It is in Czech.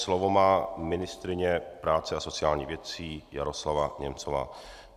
Slovo má ministryně práce a sociálních věcí Jaroslava Němcová.